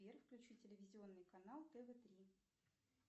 сбер включи телевизионный канал тв три